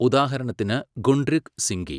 ഉദാഹരണത്തിന് ഗുണ്ഡൃക് സിങ്കി.